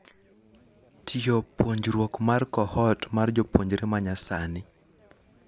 Tyor puonjruok mar cohort mar jopuonjre manyasani.